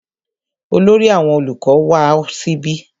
Olórí àwọn olùkọ ma wá síbí.